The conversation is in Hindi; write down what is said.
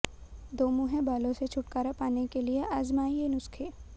दोमुंहे बालों से छुटकारा पाने के लिए आजमाएं ये नुस्खे